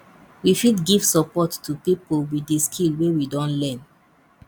we fit give support to pipo with di skill wey we don learn